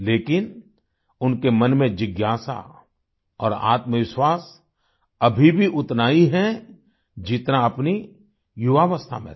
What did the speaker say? लेकिन उनके मन में जिज्ञासा और आत्मविश्वास अभी भी उतना ही है जितना अपनी युवावस्था में था